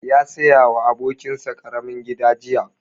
Ya saya wa abokin sa ƙaramin gida jiya